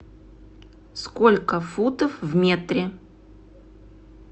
сколько футов в метре